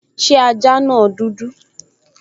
Ṣé ajá náà dúdú?